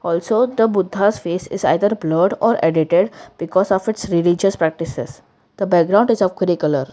also the budhas face is either blured or edited because of its religious practices the background is of colour.